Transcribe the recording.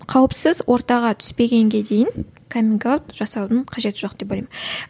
қауіпсіз ортаға түспегенге дейін каминг аут жасаудың қажеті жоқ деп ойлаймын